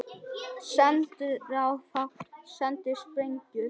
Sendiráð fá sendar sprengjur